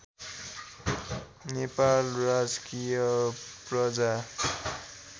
नेपाल राजकीय प्रज्ञा